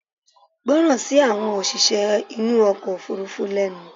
gbọ́ràn sí àwọn òṣìṣẹ́ inú ọkọ̀ òfurufú lẹnu!